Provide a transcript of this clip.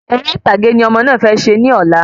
Eré ìtàgé ni ọmọ náà fẹ ṣe ní ọ̀la